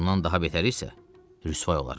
Bundan daha betəri isə rüsvay olaram.